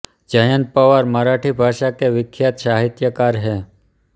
जयंत पवार मराठी भाषा के विख्यात साहित्यकार हैं